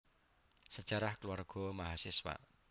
Sejarah Keluarga Mahasiswa